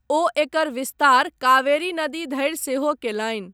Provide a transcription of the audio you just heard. ओ एकर विस्तार कावेरी नदी धरि सेहो कयलनि।